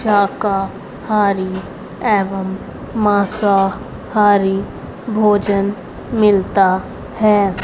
शाकाहारी एवं मांसाहारी भोजन मिलता है।